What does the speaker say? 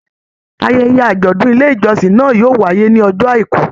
Ayẹyẹ ajọdun ilé ìjọsìn náà yóò wáyé ní ọjọ́ àìkú.